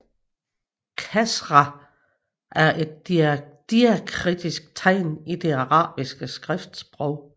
Kasra er et diakritisk tegn i det arabiske skriftsprog